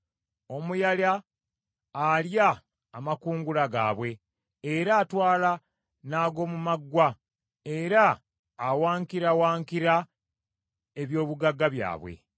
Omuyala alya amakungula gaabwe era atwala n’ag’omu maggwa era awankirawankira eby’obugagga byabwe.